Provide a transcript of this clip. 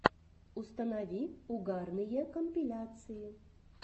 установи угарные компиляции